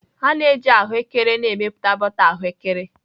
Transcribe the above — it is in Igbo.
A na-eji ahụekere na-emepụta bọta ahụekere